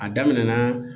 A daminɛna